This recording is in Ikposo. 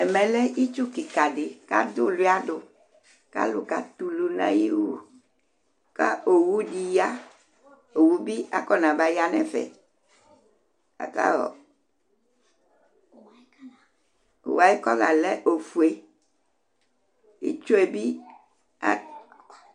Ɛmɛ lɛ itsu kɩka dɩ kʋ adʋ ʋʋlʋɩa dʋ kʋ alʋ katɛ ulu nʋ ayʋ iwu kʋ owu dɩ ya Owu bɩ akɔnabaya nʋ ɛfɛ Aka ɔ owu yɛ ayʋ kɔla lɛ ofue, itsu yɛ bɩ at